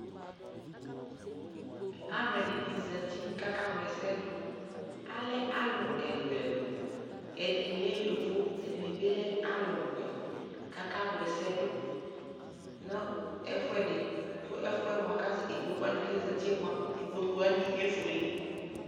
alʋɛdini zati kʋ aka wlɛsɛ dʋ, alɛalʋ ɛlʋɛlʋ ,ɛdini lɛ yɔvɔ ɛdi bi lɛ alʋ wɛ kʋ aka wlɛsɛ dʋ nʋ ɛƒʋɛdi kʋ ɛƒʋɛ mʋa ikpɔkʋ wani kʋ azati mʋa, ikpɔkʋ wani ɛƒʋɛlɛ